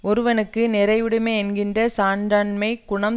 ஒருவனுக்கு நிறையுடைமை என்கின்ற சான்றாண்மைக் குணம்